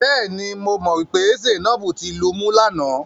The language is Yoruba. Bẹ́ẹ̀ni, mo mọ̀ pé Zainab ti lumú lánàá.